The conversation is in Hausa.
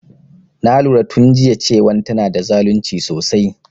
Na lura tun jiya cewan tana da zalunci sosai